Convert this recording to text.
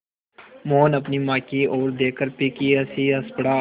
मोहन अपनी माँ की ओर देखकर फीकी हँसी हँस पड़ा